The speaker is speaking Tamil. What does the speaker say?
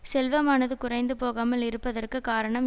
செல்வமானது குறைந்து போகாமல் இருப்பதற்கு காரணம்